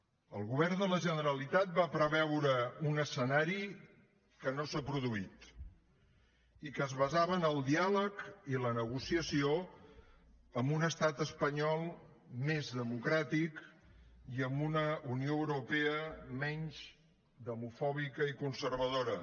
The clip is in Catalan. el govern de la generalitat va preveure un escenari que no s’ha produït i que es basava en el diàleg i la negociació amb un estat espanyol més democràtic i amb una unió europea menys demofòbica i conservadora